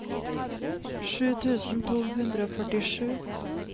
sju tusen to hundre og førtisju